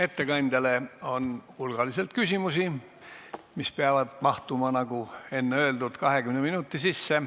Ettekandjale on hulgaliselt küsimusi, mis peavad mahtuma, nagu enne öeldud, 20 minuti sisse.